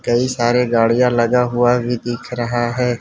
कई सारे गाड़ियां लगा हुआ भी दिख रहा है।